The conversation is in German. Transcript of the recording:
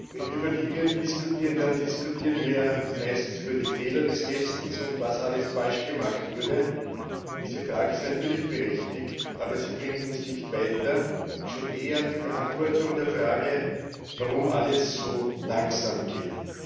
Wenn wir über Libyen diskutieren, dann diskutieren wir meistens über die Fehler des Westens und was alles falsch gemacht wurde. Diese Frage ist natürlich berechtigt, aber sie bringt uns nicht weiter schon eher die Beantwortung der Frage, warum alles so langsam geht.